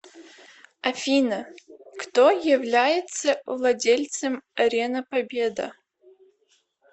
афина кто является владельцем арена победа